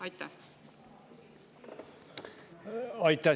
Aitäh!